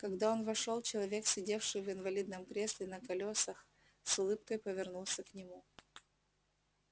когда он вошёл человек сидевший в инвалидном кресле на колёсах с улыбкой повернулся к нему